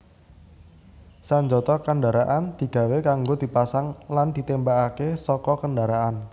Sanjata kendaraan digawé kanggo dipasang lan ditémbakaké saka kendharaan